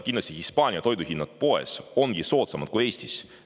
Kindlasti ongi Hispaanias toiduhinnad poes soodsamad kui Eestis.